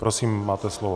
Prosím, máte slovo.